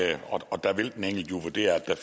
det er